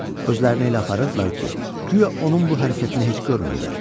Öz-özlərini elə aparırdılar ki, güya onun bu hərəkətini heç görmürlər.